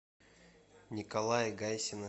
николая гайсина